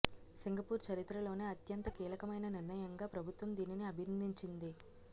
Singapore చరిత్రలోనే అంత్యంత కీలకమైన నిర్ణయంగా ప్రభుత్వం దీనిని అభిర్ణించింది